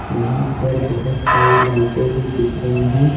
यहाँ पर बहुत सारी लाइटें भी दिख रही हैं।